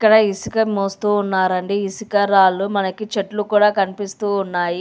ఇక్కడ ఇసుక మోస్తూ ఉన్నారండి. ఇసుక రాళ్లు మనకి చెట్లు కూడా కనిపిస్తూ ఉన్నాయి.